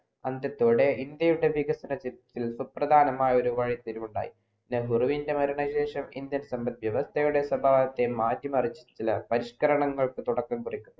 അന്ത്യത്തോടെ ഇന്ത്യയുടെ വികസനത്തിൽ ചില സുപ്രധാനമായാ ഒരു വഴിത്തിരിവുണ്ടായി നെഹ്രുവിൻ്റെ മരണ ശേഷം Indian സമ്പത്യവർ ചിലരുടെ സ്വഭാവത്തെ മാറ്റിമറിച്ചുള്ള ചില പരിഷ്‌കാരരങ്ങൾക്കു തുടക്കം കുറിക്കുന്നു